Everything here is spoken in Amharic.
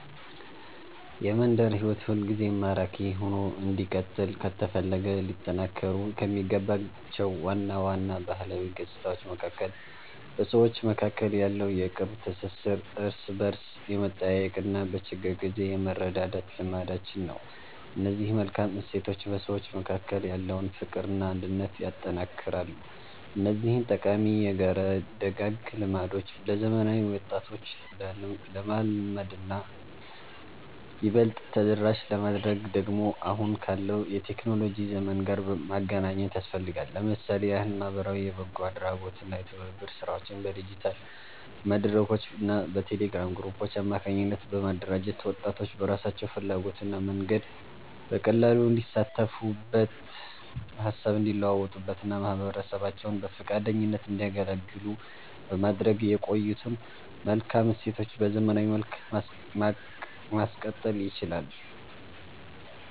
የመንደር ሕይወት ሁልጊዜም ማራኪ ሆኖ እንዲቀጥል ከተፈለገ ሊጠናከሩ ከሚገባቸው ዋና ዋና ባህላዊ ገጽታዎች መካከል በሰዎች መካከል ያለው የቅርብ ትሥሥር፣ እርስ በርስ የመጠያየቅና በችግር ጊዜ የመረዳዳት ልማዳችን ነው። እነዚህ መልካም እሴቶች በሰዎች መካከል ያለውን ፍቅርና አንድነት ያጠነክራሉ። እነዚህን ጠቃሚ የጋራ ደጋግ ልማዶች ለዘመናዊ ወጣቶች ለማልመድና ይበልጥ ተደራሽ ለማድረግ ደግሞ አሁን ካለው የቴክኖሎጂ ዘመን ጋር ማገናኘት ያስፈልጋል። ለምሳሌ ያህል ማኅበራዊ የበጎ አድራጎትና የትብብር ሥራዎችን በዲጂታል መድረኮችና በቴሌግራም ግሩፖች አማካኝነት በማደራጀት፣ ወጣቶች በራሳቸው ፍላጎትና መንገድ በቀላሉ እንዲሳተፉበት፣ ሃሳብ እንዲለዋወጡበትና ማኅበረሰባቸውን በፈቃደኝነት እንዲያገለግሉ በማድረግ የቆዩትን መልካም እሴቶች በዘመናዊ መልክ ማቀጠል ይቻላል።